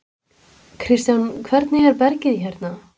Kristján: Hvernig er bergið hérna?